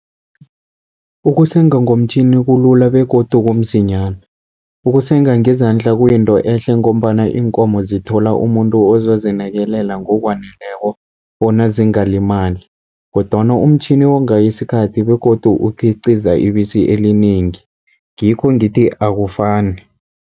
Ukusenga ngomtjhini kulula begodu kumsinyana, ukusenga ngezandla kuyinto ehle ngombana iinkomo zithola umuntu ozozinakelela ngokwaneleko bona zingalimali. Kodwana umtjhini wonga isikhathi begodu ukukhiciza ibisi elinengi, ngikho ngithi akufani